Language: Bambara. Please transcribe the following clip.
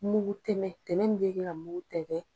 Mugu tɛmɛn tɛmɛn min bɛ kɛ ka mugu tɛntɛ.